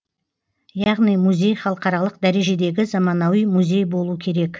яғни музей халықаралық дәрежедегі заманауи музей болу керек